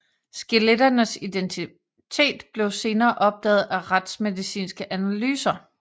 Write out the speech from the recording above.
Skeletternes identitet blev senere opdaget af retsmedicinske analyser